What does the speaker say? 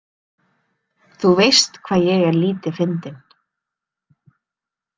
Þú veist hvað ég er lítið fyndin.